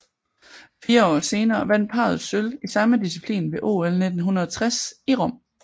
Fire år senere vandt parret sølv i samme disciplin ved OL 1960 i Rom